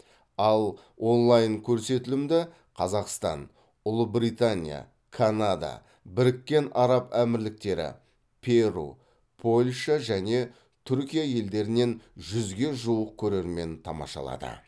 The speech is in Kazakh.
ал онлайн көрсетілімді қазақстан ұлыбритания канада біріккен араб әмірліктері перу польша және түркия елдерінен жүзге жуық көрермен тамашалады